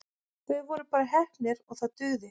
Við vorum bara heppnir og það dugði.